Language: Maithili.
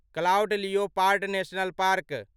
cloud leopard national park